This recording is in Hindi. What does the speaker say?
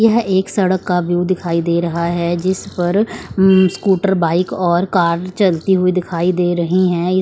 यह एक सड़क का व्यू दिखाई दे रहा है जिस पर उम्म स्कूटर बाइक और कार चलती हुई दिखाई दे रही हैं।